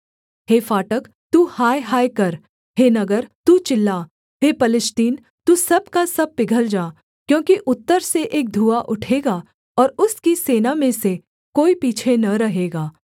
हे फाटक तू हाय हाय कर हे नगर तू चिल्ला हे पलिश्तीन तू सब का सब पिघल जा क्योंकि उत्तर से एक धुआँ उठेगा और उसकी सेना में से कोई पीछे न रहेगा